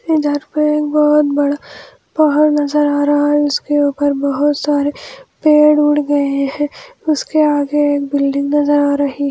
इधर पे एक बहुत बड़ा पहाड़ नजर आ रहा है उसके ऊपर बहुत सारे पेड़-उड़ गए है उसके आगे एक बिल्डिंग नजर आ रही है।